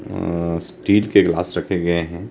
अंअं steel के गिलास रखे गए हैं।